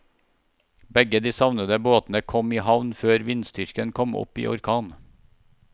Begge de savnede båtene kom i havn før vindstyrken kom opp i orkan.